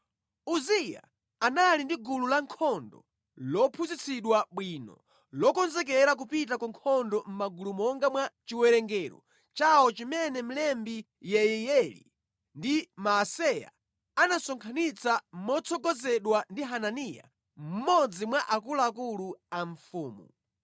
Uziya anali ndi gulu lankhondo lophunzitsidwa bwino, lokonzekera kupita ku nkhondo mʼmagulu monga mwa chiwerengero chawo chimene mlembi Yeiyeli ndi Maaseya anasonkhanitsa motsogozedwa ndi Hananiya mmodzi mwa akuluakulu a mfumu.